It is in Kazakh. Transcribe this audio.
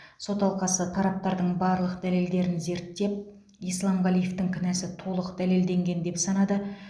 сот алқасы тараптардың барлық дәлелдерін зерттеп исламғалиевтің кінәсі толық дәлелденген деп санады